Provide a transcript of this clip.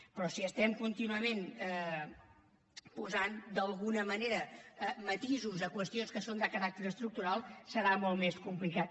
però si contínuament posem d’alguna manera matisos a qüestions que són de caràcter estructural serà molt més complicat